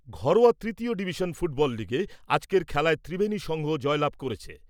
ঘরোয়া তৃতীয় division league ফুটবলের আজকের খেলায় ত্রিবেনী সংঘ জয়লাভ করেছে ।